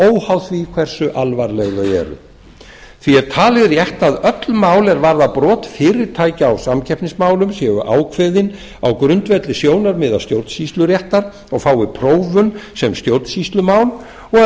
óháð því hversu alvarleg þau eru því er talið rétt að öll mál er varða brot fyrirtækja á samkeppnismálum séu ákveðin á grundvelli sjónarmiða stjórnsýsluréttar og fái prófun sem stjórnsýslumál og